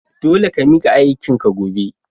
Dole ka mika aikin ka gobe!